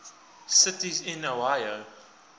cities in iowa